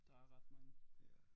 Der er ret mange